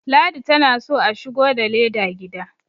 ladi tana so a shigo da leda gida